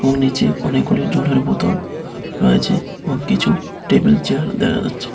নীচে অনেকগুলি জলের বোতল রয়েছে এবং কিছু টেবিল চেয়ার দেহা যাচ্ছে।